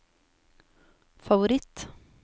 favoritt